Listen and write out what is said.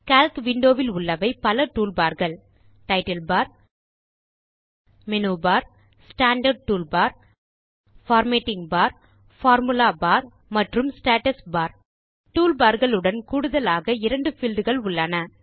Calc window வில் உள்ளவை பல toolbarகள் title bar menu bar standard toolbar formatting bar formula bar மற்றும் ஸ்டேட்டஸ் பார் toolbarகள் உடன் கூடுதலாக இரண்டு பீல்ட் கள் உள்ளன